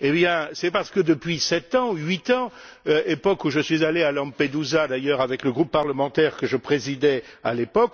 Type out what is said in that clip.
Eh bien, c'est parce que depuis sept ou huit ans époque où je suis allé à Lampedusa d'ailleurs avec le groupe parlementaire que je présidais